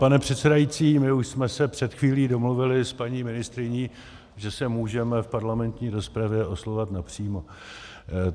Pane předsedající, my už jsme se před chvílí domluvili s paní ministryní, že se můžeme v parlamentní rozpravě oslovovat napřímo.